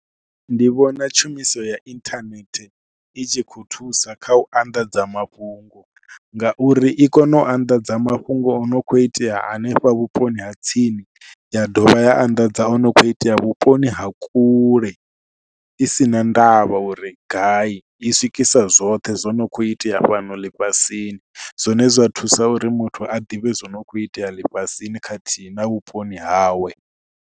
Ndi vhona tshumiso ya inthanethe i tshi khou thusa kha u anḓadza mafhungo ngauri i kona u anḓadza mafhungo o no kho itea hanefha vhuponi ha tsini. Ya dovha ya anḓadza o no kho itea vhuponi ha kule i si na ndavha uri gai, i swikisa zwoṱhe zwo no kho itea fhano ḽifhasini zwine zwa thusa uri muthu a ḓivhe zwo no khou itea ḽifhasini khathihi na vhuponi hawe.